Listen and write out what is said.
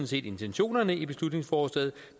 set intentionerne i beslutningsforslaget